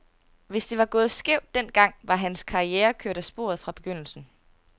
Hvis det var gået skævt den gang, var hans karriere kørt af sporet fra begyndelsen.